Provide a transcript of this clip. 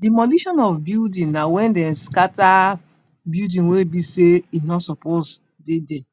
Demolition of building na wen dem scatter building wey be sey e no suppose dey there.